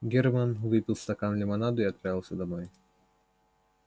герман выпил стакан лимонаду и отправился домой